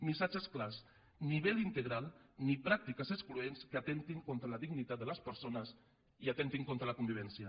missatges clars ni vel integral ni pràctiques excloents que atemptin contra la llibertat de les persones i atemptin contra la convivència